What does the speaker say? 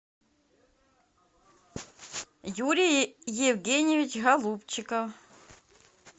юрий евгеньевич голубчика